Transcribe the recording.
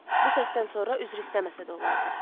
Bu səsdən sonra üzr istəməsə də olardı.